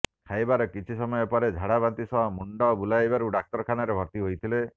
ଖାଇବାର କିଛି ସମୟ ପରେ ଝାଡାବାନ୍ତି ସହ ମୁଣ୍ଡ ବୁଲାଇବାରୁ ଡାକ୍ତରଖାନାରେ ଭର୍ତ୍ତି ହୋଇଥିଲେ